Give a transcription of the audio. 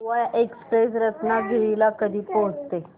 Goa express Ratnagiri ला कधी पोहचते